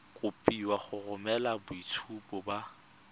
kopiwa go romela boitshupo ba